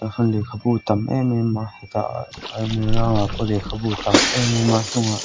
han lehkhabu tam em em a hetah pawh lehkhabu tam em em a hnungah--